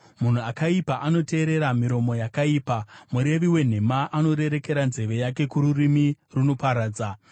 Munhu akaipa anoteerera miromo yakaipa; murevi wenhema anorerekera nzeve yake kururimi runoparadza.